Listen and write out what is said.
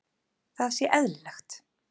Það sé eðlilegt.